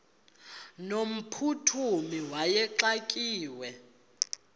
no mphuthumi wayexakiwe